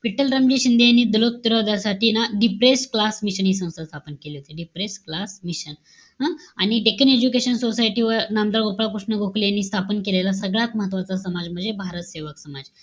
विठ्ठल रामजी शिंदे यांनी साठी ना डिप्रेस्ड क्लास मिशन हि संस्था स्थापन केली होती. disappear color mission. हं? आणि decan education society वर नामदार गोपाळ कृष्ण गोखले यांनी स्थापन केलेला सगळ्यात महत्वाचा समाज म्हणजे भारत सेवा समाज.